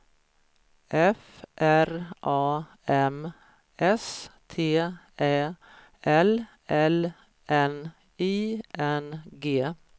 F R A M S T Ä L L N I N G